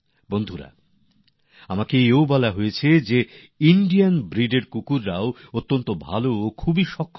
বন্ধুরা আমাকে বলা হয়েছে ভারতীয় প্রজাতির কুকুর খুব ভাল গুণমানের খুবই সক্ষম